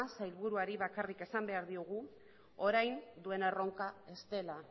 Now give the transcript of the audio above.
sailburuari bakarrik esan behar diogu orain duen erronka ez dela